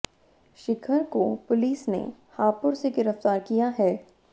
शिखर को पुलिस ने हापुड़ से गिरफ्तार किया है